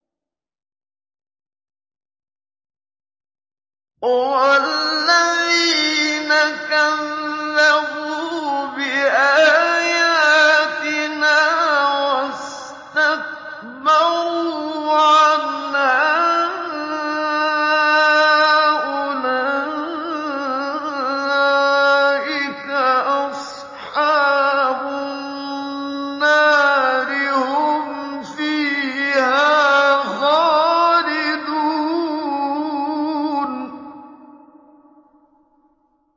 وَالَّذِينَ كَذَّبُوا بِآيَاتِنَا وَاسْتَكْبَرُوا عَنْهَا أُولَٰئِكَ أَصْحَابُ النَّارِ ۖ هُمْ فِيهَا خَالِدُونَ